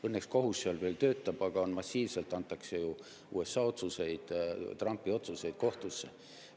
Õnneks kohus seal töötab, aga massiivselt antakse ju USA otsuseid, Trumpi otsuseid kohtusse.